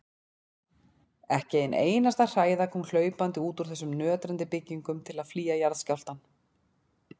Ekki ein einasta hræða kom hlaupandi út úr þessum nötrandi byggingum til að flýja jarðskjálftann.